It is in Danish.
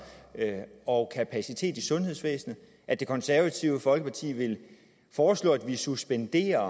og kapacitet i sundhedsvæsenet at det konservative folkeparti vil foreslå at vi suspenderer